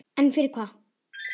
En fyrir hvað?